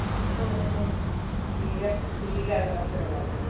നീല നീല നിറത്തിലുള്ളത്